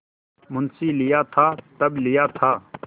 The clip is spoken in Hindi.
मुंशीलिया था तब लिया था